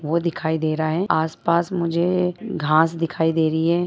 वो दिखाई दे रहा हैआस-पास मुझे घांस दिखाई दे रही है।